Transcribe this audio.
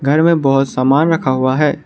घर में बहोत सामान रखा हुआ है।